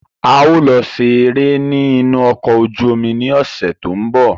A ó lọ ṣe eré ní inú ọkọ̀ ojú omi ní ọ̀sẹ̀ tó ń bọ̀.